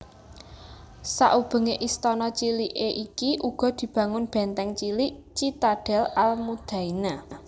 Sakubengé istana ciliki iki uga dibangun bèntèng cilik citadel al Mudaina